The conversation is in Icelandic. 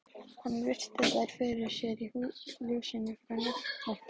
Hann virti þær fyrir sér í ljósinu frá náttlampanum.